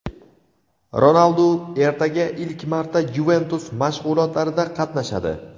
Ronaldu ertaga ilk marta "Yuventus" mashg‘ulotlarida qatnashadi.